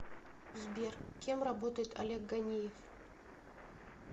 сбер кем работает олег ганеев